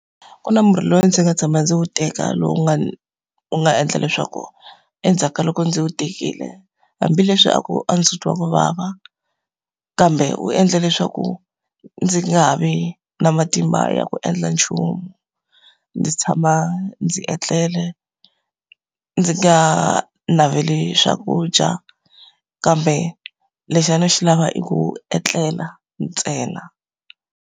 Ku na murhi lowu ndzi nga tshama ndzi wu teka lowu u nga u nga endla leswaku endzhaku ka loko ndzi wu tekile, hambileswi a ku a ndzi twa ku vava, kambe wu endle leswaku ndzi nga ha vi na matimba ya ku endla nchumu. Ndzi tshama ndzi etlele, ndzi nga ha naveli swakudya, kambe lexi a ni xi lava i ku etlela ntsena.